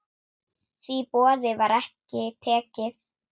Því boði var ekki tekið.